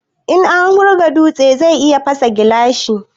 In an wurga dutse zai iya fasa gilashi